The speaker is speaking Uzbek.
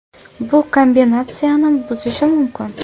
Bu kombinatsiyani buzishi mumkin.